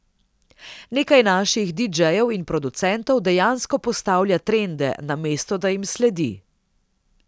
Nekaj naših didžejev in producentov dejansko postavlja trende, namesto da jim sledi.